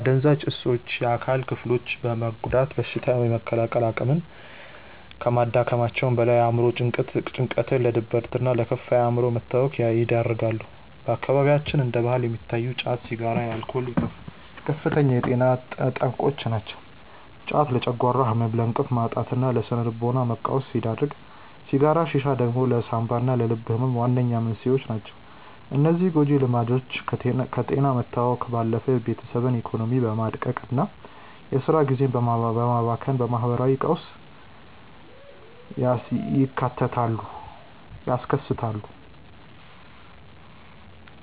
አደንዛዥ እፆች የአካል ክፍሎችን በመጉዳት በሽታ የመከላከል አቅምን ከማዳከማቸውም በላይ፣ ለአእምሮ ጭንቀት፣ ለድብርትና ለከፋ የአእምሮ መታወክ ይዳርጋሉ። በአካባቢያችን እንደ ባህል የሚታዩት ጫት፣ ሲጋራና አልኮል ከፍተኛ የጤና ጠንቆች ናቸው። ጫት ለጨጓራ ህመም፣ ለእንቅልፍ ማጣትና ለስነ-ልቦና መቃወስ ሲዳርግ፣ ሲጋራና ሺሻ ደግሞ ለሳንባና ለልብ ህመም ዋነኛ መንስኤዎች ናቸው። እነዚህ ጎጂ ልምዶች ከጤና መታወክ ባለፈ የቤተሰብን ኢኮኖሚ በማድቀቅና የስራ ጊዜን በማባከን ማህበራዊ ቀውስ ያስከትላሉ።